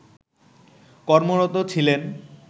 কর্মরত ছিলেন